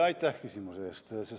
Aitäh küsimuse eest!